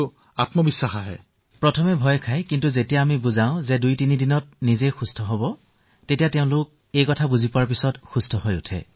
আৰম্ভণিতে ভয় খায় কিন্তু যেতিয়া বুজাওদুই তিনিদিনৰ পিছত আৰোগ্য হবলৈ আৰম্ভ কৰিলে প্ৰত্যয়িত হয় যে তেওঁলোক ঠিক হব পাৰে